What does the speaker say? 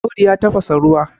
Audu ya tafasa ruwa